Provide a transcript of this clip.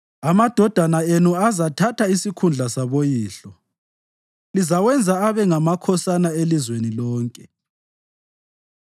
Amadodana enu azathatha isikhundla saboyihlo; lizawenza abe ngamakhosana elizweni lonke.